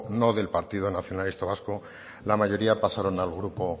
no del partido nacionalista vasco la mayoría pasaron al grupo